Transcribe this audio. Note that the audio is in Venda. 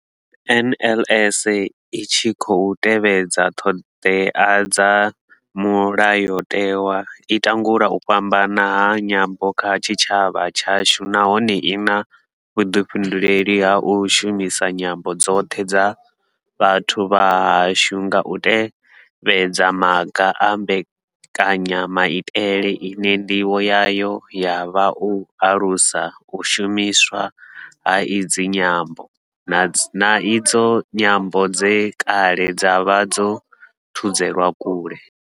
NLS I tshi khou tevhedza ṱhodea dza Mulayo tewa, i langula u fhambana ha nyambo kha tshitshavha tshashu nahone I na vhuḓifhinduleli ha u shumisa nyambo dzoṱhe dza vhathu vha hashu nga u tevhedza maga a mbekanya maitele ine ndivho yayo ya vha u alusa u shumiswa ha idzi nyambo, na idzo nyambo dze kale dza vha dzo thudzelwa kule.